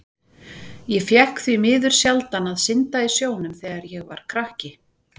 Ég fékk því miður sjaldan að synda í sjónum þegar ég var krakki.